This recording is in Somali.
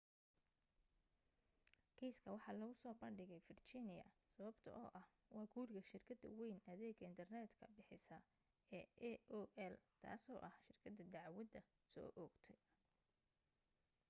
kiiska waxa lagu soo bandhigay virginia sababtoo ah waa guriga shirkada wayn adeega internet ka bixisa ee aol taaso ah shirkada dacdwada soo oogtay